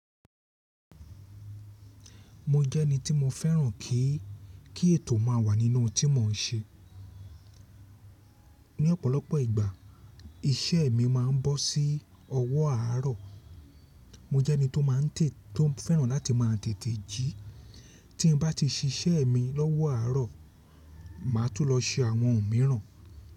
Mo jẹ́ ẹni tí mo fẹ́ràn kí kí ètò má wà nínú ohun tí mò ń ṣe. Ni ọ̀pọ̀lọpọ̀ ìgbà iṣẹ́ mi ma ń bọ́ sí ọwọ́ àárọ̀. Mo jẹ́ ẹni tó máa n tètè tó fẹ́ràn láti má a tètè jí. Tí n bá ti ṣiṣẹ́ mi lọ́wọ́ àárọ̀, màá tún lọ ṣe àwọn ohun mìràn.